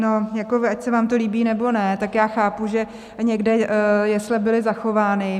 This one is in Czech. No, ať se vám to líbí, nebo ne, tak já chápu, že někde jesle byly zachovány.